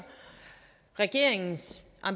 regeringen